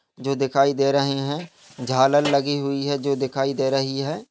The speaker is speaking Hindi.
जो दिखाई दे रहे है झालर लगी हुई है जो दिखाई दे रही है।